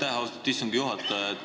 Aitäh, austatud istungi juhataja!